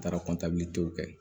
N taara kɔntiw kɛ